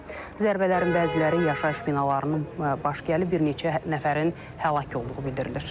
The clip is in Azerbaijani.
Zərbələrin bəziləri yaşayış binalarının baş gəlib, bir neçə nəfərin həlak olduğu bildirilir.